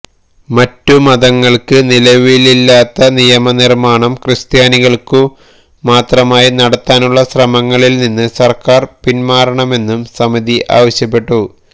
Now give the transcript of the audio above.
മറ്റു മതങ്ങൾക്ക് നിലവിലില്ലാത്ത നിയമനിർമ്മാണം ക്രിസ്ത്യാനികൾക്കു മാത്രമായി നടത്താനുള്ള ശ്രമങ്ങളിൽ നിന്നു സർക്കാർ പിന്മാറണമെന്ന് സമിതി ആവശ്യപ്പെട്ടു